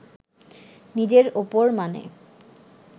নিজের ওপর মানে